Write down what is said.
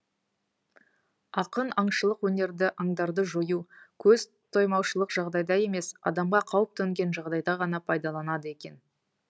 ақын аңшылық өнерді аңдарды жою көз тоймаушылық жағдайда емес адамға қауіп төнген жағдайда ғана пайдаланады екен